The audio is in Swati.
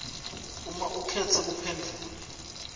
uma ukhetse kuphendvula